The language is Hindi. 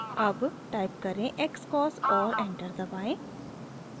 अब टाइप करें xcos और एंटर दबाएं